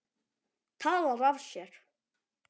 Talar af sér.